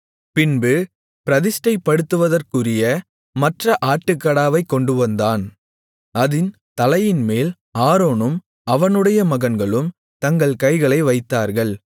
பின்பு பிரதிஷ்டைப்படுத்துவதற்குரிய மற்ற ஆட்டுக்கடாவைக் கொண்டுவந்தான் அதின் தலையின்மேல் ஆரோனும் அவனுடைய மகன்களும் தங்கள் கைகளை வைத்தார்கள்